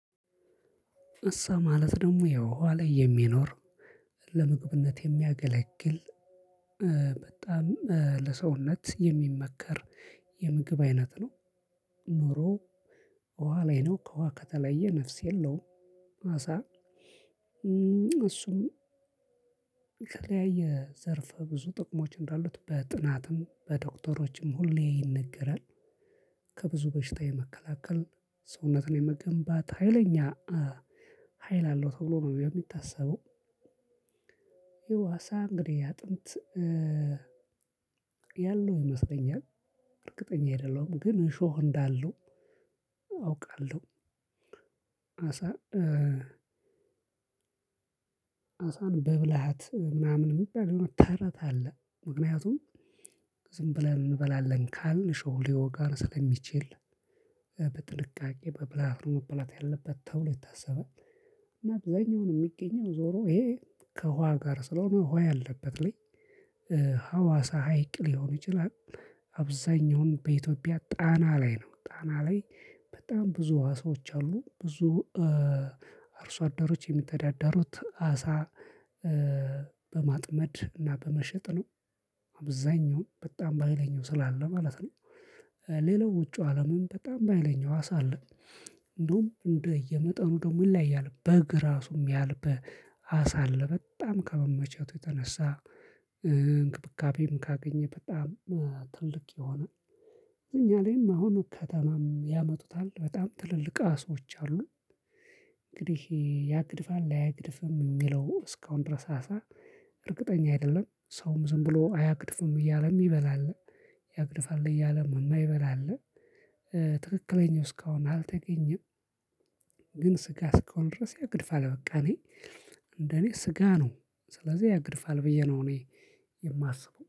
አሳ ማለት ደግሞ ውሃ ላይ የሚኖር ለምግብነት የሚያገለግል ለሰውነት የሚመከር የምግብ አይነት ነው። ኑሮዌ ውሃ ላይ ነው ከውሃ ከተለየ ነፍስ የለውም አሳ። እሱም የተለያየ ዘርፈ ብዙ ጥቅሞች እንዳሉት በጥናትም፣ በዶክተሮችም ሁሌ ይነገራል። ከ ብዙ በሽታ የመከላከል፣ ሰውነትን የመገንባት ሀይለኛ ሀይል አለው ተብሎ ነው የሚታሰበው። አሳ እንግዲህ አጥንት ያለው ይመስለኛል እርግጠኛ አይደለሁም ግን እሾህ እንዳለው አውቃለሁ አሳ። ኣሳን በብልሃት ምናምን የሚባል የሆነ ተረት አለ። ምክንያቱም ዝም ብለን እንበላለን ካልን እሾሁ ሊወጋን ስለሚችል በጥንቃቄ በብልለት ነው መብላት ያለበት ተብሎ ይታሰባል። እናት ዛኛው ነው የሚገኘው ዞሮ ይሄ ከውሃ ጋር ስለሆነ ውሃ ያለበት ላይ። ሀዋሳ ሀይቅ ሊሆን ይችላል። አብዛኛውን በኢትዮጵያ ጣና ላይ ነው ጣና ላይ በጣም ብዙ አሳዎች አሉ። ብዙ አርሶ አደሮች የሚተዳደሩት አሳ በማጥመድ እና በመሸጥ ነው። አብዛኛው በጣም በሃይለኛው ስላለ ማለት ነው። ሌላው ውጪው አለምም በጣም በሀይለኝ አሳ አለ። እንደውም እንደ እየመጠኑ ደግሞ ይለያያል በግ እራሱ እሚያህል አሳ አለ በጣም ከመመቸቱ የተነሳ። እንክብካቤም ካገኘ በጣም ትልቅ የሆነ እኛ ላይም አሁን ከተማም ያመጡታል በጣም ትልልቅ አሳዎች አሉ። እንግዲህ ያግድፋል አያገድፍም እሚለው እስካሁን ድረስ አሳ እርግጠኛ አይደለም ሰውም ዝም ብሎ አያግድፍም እያለም ይበላል። ያግድፋል እያለም የማይበላ አለ። ትክክለኛው እስካሁን አልተገኘም። ግን ስጋ እስከሆነ ድረስ ያገድፋል በቃ እኔ እንደእኔ ስጋ ነው ስለዚህ ያገድፋል ብዬ ነው እኔ የማስበው